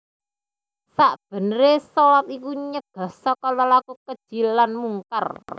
Sakbeneré shalat iku nyegah saka lelaku keji lan mungkar